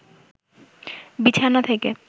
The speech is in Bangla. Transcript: বিছানা থেকে